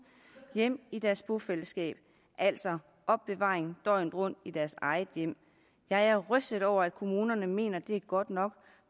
hjem i deres bofællesskab altså opbevaring døgnet rundt i deres eget hjem jeg er rystet over at kommunerne mener det er godt nok